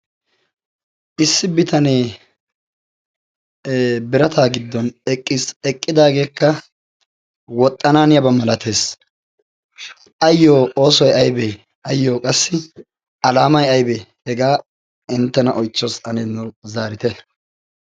issi bitanee birataa giddon eqqidaageekka woxxanaaniyaabaa malatees ayyo oosuwai aybee ayyo qassi alaamay aybee hegaa inttena oychchoos ani zaarite